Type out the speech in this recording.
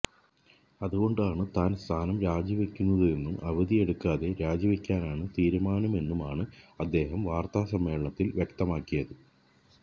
അതുകൊണ്ടാണ് താൻ സ്ഥാനം രാജിവെക്കുന്നതെന്നും അവധിയെടുക്കാതെ രാജിവെക്കാനാണ് തീരുമാനമെന്നുമാണ് അദ്ദേഹം വാർത്താസമ്മേളനത്തിൽ വ്യക്തമാക്കിയത്